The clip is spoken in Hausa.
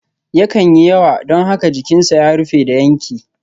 Yakan yi yawa don haka jikinsa ya rufe da yanke.